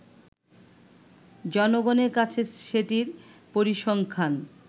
জনগনের কাছে সেটির পরিসংখ্যান